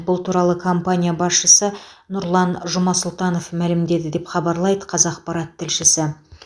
бұл туралы компания басшысы нұрлан жұмасұлтанов мәлімдеді деп хабарлайды қазақпарат тілшісі